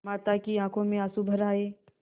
माता की आँखों में आँसू भर आये